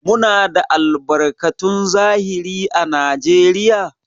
Muna da albarkatun zahiri à Najeriya?